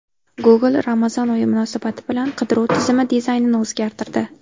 Google Ramazon oyi munosabati bilan qidiruv tizimi dizaynini o‘zgartirdi.